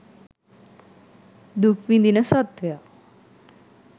දුක් විඳින සත්ත්වයා